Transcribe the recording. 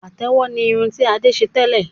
Pàtẹ́wọ̀ ni irun ti Adé ṣe tẹ́lẹ̀